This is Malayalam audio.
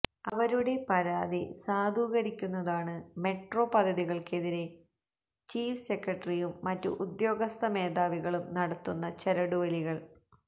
അവരുടെ പരാതി സാധൂകരിക്കുന്നതാണ് മെട്രോ പദ്ധതികള്ക്കെതിരെ ചീഫ് സെക്രട്ടറിയും മറ്റു ഉദ്യോഗസ്ഥ മേധാവികളും നടത്തുന്ന ചരടുവലികള്